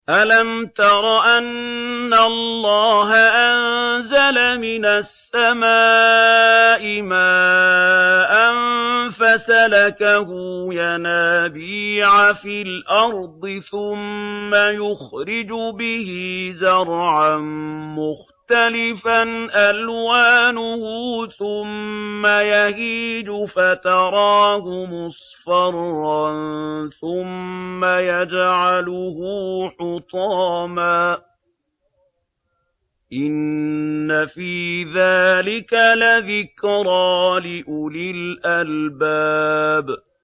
أَلَمْ تَرَ أَنَّ اللَّهَ أَنزَلَ مِنَ السَّمَاءِ مَاءً فَسَلَكَهُ يَنَابِيعَ فِي الْأَرْضِ ثُمَّ يُخْرِجُ بِهِ زَرْعًا مُّخْتَلِفًا أَلْوَانُهُ ثُمَّ يَهِيجُ فَتَرَاهُ مُصْفَرًّا ثُمَّ يَجْعَلُهُ حُطَامًا ۚ إِنَّ فِي ذَٰلِكَ لَذِكْرَىٰ لِأُولِي الْأَلْبَابِ